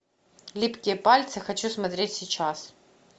липкие пальцы хочу смотреть сейчас